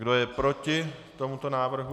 Kdo je proti tomuto návrhu?